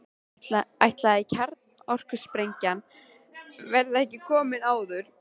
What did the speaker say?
Ætli kjarnorkusprengjan verði ekki komin áður.